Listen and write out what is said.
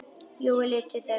Jói leit til þeirra.